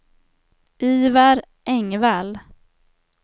Ivar Engvall